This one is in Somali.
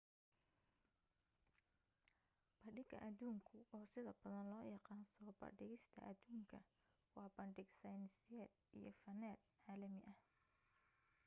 bandhiga adduunku oo sida badan loo yaqaan soo bandhigista aduunka waa bandhig sayniseed iyo faneed caalami ah